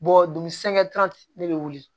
dun ne bɛ wuli